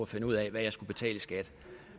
finde ud af hvad jeg skulle betale i skat